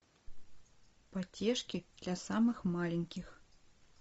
потешки для самых маленьких